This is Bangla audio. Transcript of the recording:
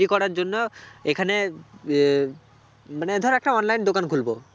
তৈরী করার জন্য এখানে আহ মানে ধর একটা online দোকান খুলবো